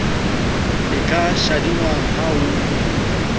e ka shadingwang ha ho